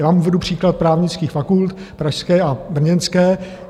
Já vám uvedu příklad právnických fakult, pražské a brněnské.